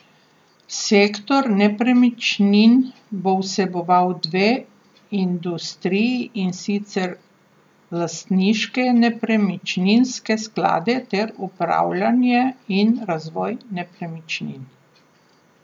Sektor nepremičnin bo vseboval dve industriji in sicer lastniške nepremičninske sklade ter upravljanje in razvoj nepremičnin.